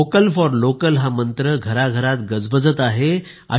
vocal for local हा मंत्र घराघरात गजबजत आहे